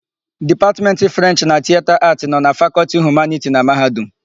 Dipatmentị Frenchị na Tiyeta Aatị nọ na Fakọltị Humaniti na Mahadum.